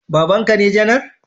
Babanka ne janar